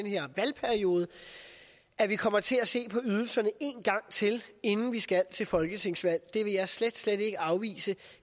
her valgperiode at vi kommer til at se på ydelserne en gang til inden vi skal til folketingsvalg det vil jeg slet slet ikke afvise